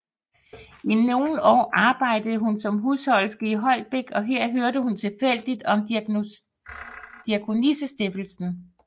I nogle år arbejdede hun som husholderske i Holbæk og her hørte hun tilfældigt om Diakonissestiftelsen